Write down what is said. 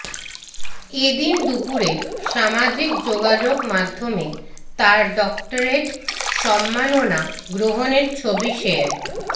এদিন দুপুরে সামাজিক যোগাযোগমাধ্যমে তার ডক্টরেট সম্মাননা গ্রহণের ছবি শেয়ার